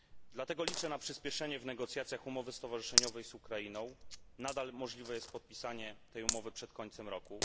Dlatego liczę na przyśpieszenie w negocjacjach umowy stowarzyszeniowej z Ukrainą nadal możliwe jest podpisanie tej umowy przed końcem roku.